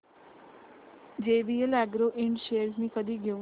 JVL agro ind shares मी कधी घेऊ